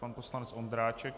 Pan poslanec Ondráček.